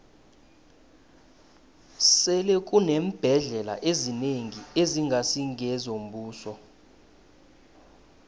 sele kuneembhendlela ezinengi ezingasi ngezombuso